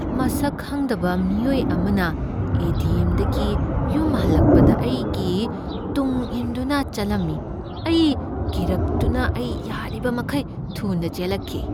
ꯃꯁꯛ ꯈꯪꯗꯕ ꯃꯤꯑꯣꯏ ꯑꯃꯅ ꯑꯦ. ꯇꯤ. ꯑꯦꯝ. ꯗꯒꯤ ꯌꯨꯝ ꯍꯜꯂꯛꯄꯗ ꯑꯩꯒꯤ ꯇꯨꯡꯏꯟꯗꯨꯅ ꯆꯠꯂꯝꯃꯤ꯫ ꯑꯩ ꯀꯤꯔꯛꯇꯨꯅ ꯑꯩ ꯌꯥꯔꯤꯕꯃꯈꯩ ꯊꯨꯅ ꯆꯦꯜꯂꯛꯈꯤ꯫